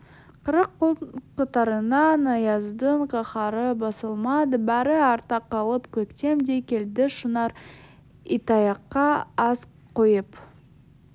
қырық күн қатарынан аяздың қаһары басылмады бәрі артта қалды көктем де келді шынар итаяққа ас құйып